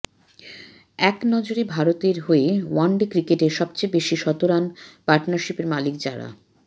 একনজরে ভারতের হয়ে ওয়ান ডে ক্রিকেটে সবেচেয়ে বেশি শতরান পার্টনারশিপের মালিক যারা